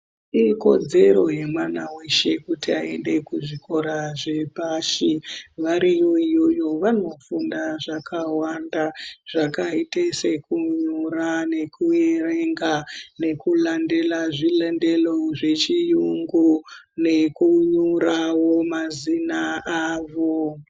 Ikodzero yemwana weshe kuti aende kuzvikora zvepashi ,variyo iyoyo vanofunda zvakawanda zvakaita sekunyora nekuverenga nekulandela zvilandelo zvechiyungu nekunyorawo mazina avo.